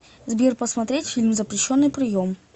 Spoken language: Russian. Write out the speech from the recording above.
сбер посмотреть фильм запрещенный прием